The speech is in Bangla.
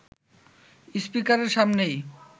স্পিকারের সামনেই